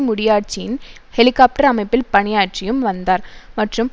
முடியாட்சியின் helicopter அமைப்பில் பணியாற்றியும் வந்தார் மற்றும்